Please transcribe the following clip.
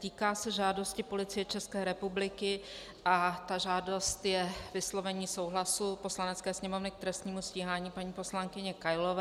Týká se žádosti Policie České republiky, a ta žádost je vyslovení souhlasu Poslanecké sněmovny k trestnímu stíhání paní poslankyně Kailové.